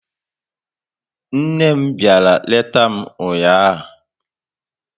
Nne m bịara leta m ụnyaahụ